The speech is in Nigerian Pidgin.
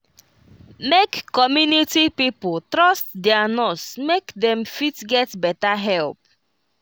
make community pipo trust their nurse make dem fit get better help